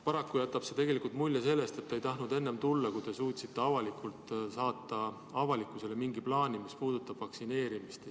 Paraku jätab see mulje, et te ei tahtnud tulla enne, kui te suutsite avalikkusele saata mingi plaani, mis puudutab vaktsineerimist.